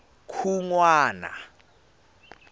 khunwana